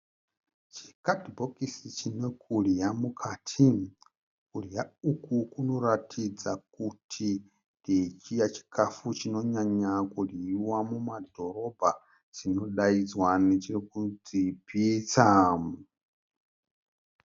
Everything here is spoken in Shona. Chikadhibhokisi chine kudya mukati. Kudya uku kunoratidza kuti ndechiya chikafu chinonyanya kudyiwa mumadhorobha chinodaidzwa nekuti pitsa.